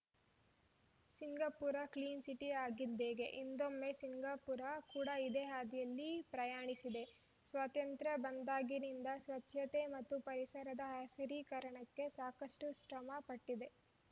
Singapore clean city ಆಗಿದ್ಹೇಗೆ ಹಿಂದೊಮ್ಮೆ Singapore ಕೂಡ ಇದೇ ಹಾದಿಯಲ್ಲಿ ಪ್ರಯಾಣಿಸಿದೆ ಸ್ವಾತಂತ್ರ್ಯ ಬಂದಾಗಿನಿಂದ ಸ್ವಚ್ಛತೆ ಮತ್ತು ಪರಿಸರದ ಹಸಿರೀಕರಣಕ್ಕೆ ಸಾಕಷ್ಟುಶ್ರಮ ಪಟ್ಟಿದೆ